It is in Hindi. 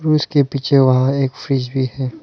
उसके पीछे वहां एक फ्रिज भी है।